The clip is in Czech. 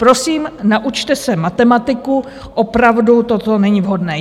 Prosím, naučte se matematiku, opravdu to není vhodné.